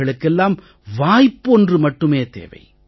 அவர்களுக்கெல்லாம் வாய்ப்பொன்று மட்டுமே தேவை